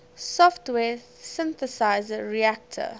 software synthesizer reaktor